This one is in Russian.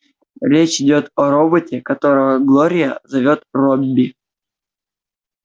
речь идёт о роботе которого глория зовёт робби